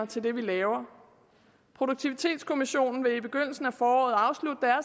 til det vi laver produktivitetskommissionen vil i begyndelsen af foråret afslutte